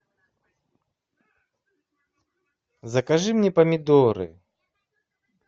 закажи мне помидоры